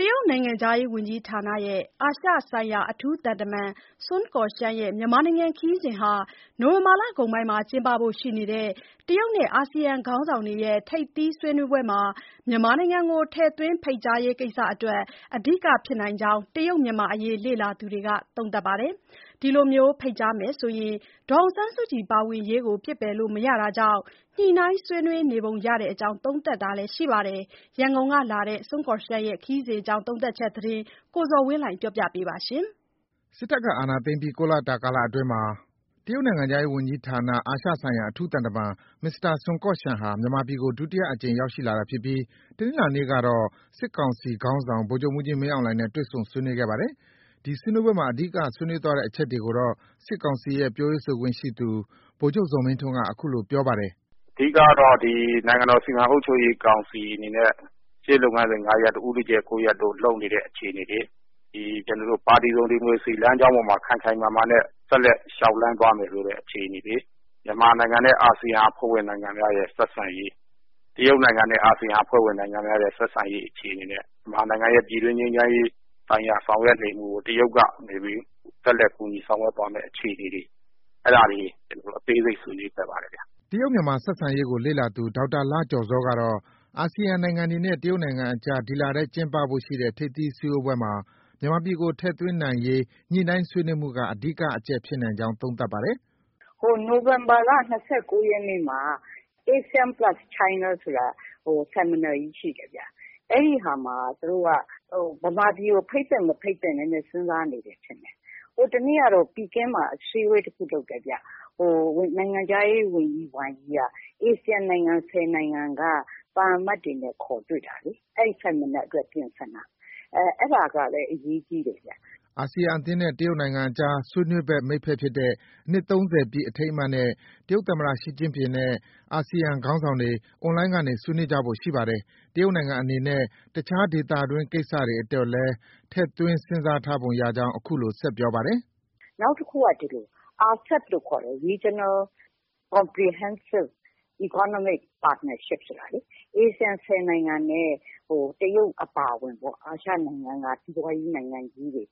တရုတ်နိုင်ငံခြားရေးဝန်ကြီးဌာန အာရှဆိုင်ရာအထူးသံတမန်စွန်ကော့ရှန်ရဲ့ မြန်မာနိုင်ငံခရီးစဉ်ဟာ နိုဝင်ဘာလကုန်ပိုင်းကျင်းပဖို့ရှိနေတဲ့ တရုတ်နဲ့ အာဆီယံခေါင်းဆောင်တွေရဲ့ ထိပ်သီးဆွေးနွေးပွဲမှာ မြန်မာနိုင်ငံကို ထည့်သွင်းရေးကိစ္စအတွက် အဓိက ဖြစ်နိုင်ကြောင်း တရုတ်-မြန်မာအရေးလေ့လာသူတွေက သုံးသပ်ပါတယ်။ ဒီလိုဖိတ်ကြားမယ်ဆိုရင် ဒေါ်အောင်ဆန်းစုကြည် ပါဝင်ရေးကို ပစ်ပယ်လို့ မရတာကြောင့် ညှိနှိုင်းဆွေးနွေးနေပုံရကြောင်း သုံးသပ်တာ တွေ ရှိနေပါတယ်။ ရန်ကုန်ကလာတဲ့ စွန်ကော့ရှန်ရဲ့ ခရီးစဉ်သတင်းကို ကိုဇော်ဝင်းလှိုင်က တင်ပြထားပါတယ်။ စစ်တပ်က အာဏာသိမ်းပြီး ၉ လတာကာလအတွင်းမှာ တရုတ်နိုင်ငံခြားရေးဝန်ကြီးဌာန အာရှဆိုင်ရာအထူးသံတမန် မစ္စတာစွန်ကော့ရှန်ဟာ မြန်မာပြည်ကို ဒုတိယအကြိမ် ရောက်ရှိလာတာဖြစ်ပြီး တနင်္လာနေ့ကတော့ စစ်ကောင်စီခေါင်းဆောင် ဗိုလ်ချုပ်မှူးကြီး မင်းအောင်လှိုင်နဲ့ တွေ့ဆုံဆွေးနွေးခဲ့ပါတယ်။ ဒီဆွေးနွေးပွဲမှာ အဓိက ဆွေးနွေးသွားတဲ့အချက်တွေကိုတော့ စစ်ကောင်စီရဲ့ ပြောရေးဆိုခွင့်ရှိသူ ဗိုလ်ချုပ် ဇော်မင်းထွန်းက အခုလို ပြောဆိုထားပါတယ်။ “အဓိကကတော့ ဒီ နိုင်ငံတော်စီမံအုပ်ချုပ်ရေးကောင်စီအနေနဲ့ ရှေ့လုပ်ငန်းစဉ် ၅ ရပ် တို့၊ ဦးတည်ချက် ၉ ရပ်တို့ လုပ်နေတဲ့ အခြေအနေတွေ၊ ဒီပါတီစုံဒီမိုကရေစီလမ်းကြောင်းအပေါ်မှာ ခိုင်ခိုင်မာမာနဲ့ ဆက်လက် လျှောက်လှမ်းသွားမယ်ဆိုတဲ့အခြေအနေတွေ၊ မြန်မာနိုင်ငံနဲ့ အာဆီယံအဖွဲ့ဝင်နိုင်ငံများရဲ့ ဆက်ဆံရေး၊ တရုတ်နိုင်ငံနဲ့ အာဆီယံအဖွဲ့ ဝင်နိုင်ငံများရဲ့ ဆက်ဆံရေးအခြေအနေနဲ့ မြန်မာနိုင်ငံနဲ့ ပြည်တွင်းငြိမ်းချမ်းရေး ဆိုင်ရာ ဆောင်ရွက်နေမှုကို တရုတ်ကနေပြီး ဆက်လက်ကူညီဆောင်ရွက်သွားမယ့်အခြေအနေတွေ အဲဒါတွေ အသေးစိတ်ဆွေးနွေးခဲ့ပါတယ်ဗျ။” တရုတ်-မြန်မာဆက်ဆံရေးကို လေ့လာသူ ဒေါက်တာလှကျော်ဇောကတော့ အာဆီယံနိုင်ငံတွေနဲ့ တရုတ်နိုင်ငံကြား ဒီလထဲကျင်းပဖို့ရှိတဲ့ ထိပ်သီးစည်းဝေးပွဲမှာ မြန်မာပြည်ကို ထည့်သွင်းနိုင်ရေးညှိနှိုင်းဆွေးနွေးမှုက အဓိက အချက်ဖြစ်နိုင်ကြောင်း သုံးသပ်ပါတယ်။ “နိုဝင်ဘာလ ၂၉ ရက်နေ့မှာ ASEAN plus China ဆိုတာ Seminar ကြီးရှိတယ်။ အဲဒီဟာမှာ မြန်မာပြည်ကို ဖိတ်သင့်၊ မဖိတ်သင့် စဉ်းစားနေတယ်ထင်တယ်။ ဟိုတနေ့ ကတော့ ပီကင်းမှာ အစည်းအဝေး တခုလုပ်တယ်ဗျ။ နိုင်ငံခြားရေးဝန်ကြီး ဝမ်ယိက ASEAN နိုင်ငံ ၁၀ နိုင်ငံက သံအမတ်တွေနဲ့ ခေါ်တွေ့တာလေ။ အဲဒီ Seminar အတွက် ပြင်ဆင်တာ။ အဲဒါကလည်း အရေးကြီးတယ်ဗျ။” အာဆီယံအသင်းနဲ့ တရုတ်နိုင်ငံကြား ဆွေးနွေးဘက် မိတ်ဖက်ဖြစ်တဲ့ အနှစ် ၃၀ ပြည့် အထိမ်းအမှတ်နဲ့ တရုတ်သမ္မတ Xi Jinping နဲ့ အာဆီယံခေါင်းဆောင်တွေ အွန်လိုင်းကနေ ဆွေးနွေးကြဖို့ရှိပါတယ်။ တရုတ်နိုင်ငံအနေနဲ့ တခြားဒေသတွင်း ကိစ္စတွေအတွက်လည်း ထည့်သွင်းစဉ်းစားထားပုံရကြောင်း အခုလို ဆက်ပြောပါတယ်။ “နောက်တခုက ဒီလို ARCEP လို့ခေါ်တဲ့ Regional Comprehensive Economic Partnership ဆိုတာလေ၊ ASEAN ၁၀နိုင်ငံနဲ့ တရုတ်အပါအဝင်ပေါ့။ အာရှနိုင်ငံက စီးပွားရေးနိုင်ငံကြီးတွေ ၅